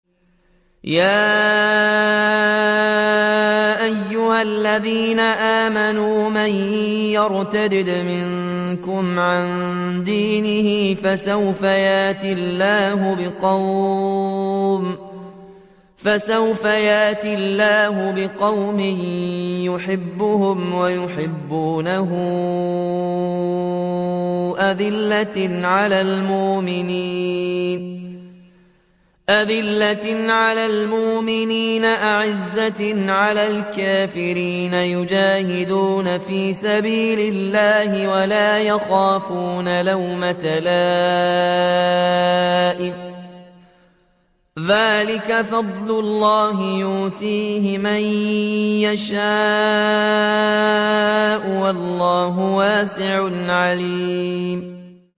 يَا أَيُّهَا الَّذِينَ آمَنُوا مَن يَرْتَدَّ مِنكُمْ عَن دِينِهِ فَسَوْفَ يَأْتِي اللَّهُ بِقَوْمٍ يُحِبُّهُمْ وَيُحِبُّونَهُ أَذِلَّةٍ عَلَى الْمُؤْمِنِينَ أَعِزَّةٍ عَلَى الْكَافِرِينَ يُجَاهِدُونَ فِي سَبِيلِ اللَّهِ وَلَا يَخَافُونَ لَوْمَةَ لَائِمٍ ۚ ذَٰلِكَ فَضْلُ اللَّهِ يُؤْتِيهِ مَن يَشَاءُ ۚ وَاللَّهُ وَاسِعٌ عَلِيمٌ